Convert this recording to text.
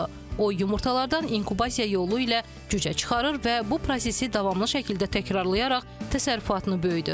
O yumurtalardan inkubasiya yolu ilə cücə çıxarır və bu prosesi davamlı şəkildə təkrarlayaraq təsərrüfatını böyüdür.